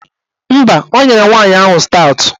Mba, o nyere nwaanyị ahụ staụtụ